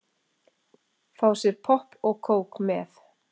Fá sér popp og kók með.